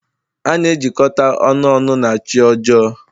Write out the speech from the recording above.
A na-ejikọta ọnụ ọnụ na chi ọjọọ.